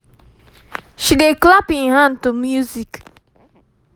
um she dey clap hin hand to music